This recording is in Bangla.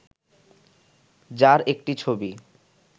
যার একটি ছবি